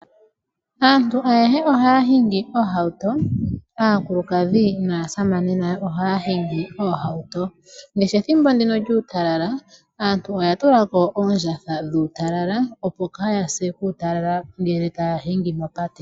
Aantu ayehe ohaya hingi oohauto. Aakulukadhi naasamane ohaya hingi oohauto ngaashi ethimbo ndino lyuutalala . Aantu oya tulako oondjatha dhuutalala opo kaaya se uutalala Ngele taya hingi mopate.